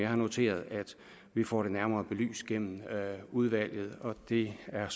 har noteret at vi får det nærmere belyst gennem udvalget og det er